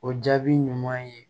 O jaabi ɲuman ye